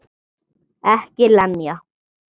EKKI LEMJA!